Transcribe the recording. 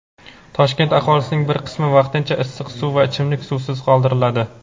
Toshkent aholisining bir qismi vaqtincha issiq suv va ichimlik suvisiz qoldiriladi.